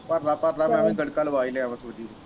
ਭਰ ਲੈ ਭਰ ਲੈ ਨਾਲੇ ਨਲਕਾ ਲੁਆ ਹੀ ਲਿਆ ਵਾ ਤੁਸੀਂ।